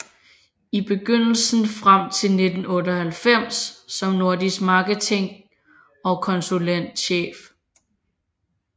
I begyndelsen frem til 1998 som nordisk marketing og konsulentchef